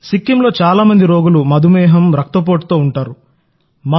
సిక్కింలో చాలా మంది రోగులు మధుమేహం రక్తపోటుతో ఉన్నవారుంటారు